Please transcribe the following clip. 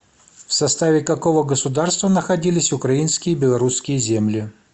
в составе какого государства находились украинские и белорусские земли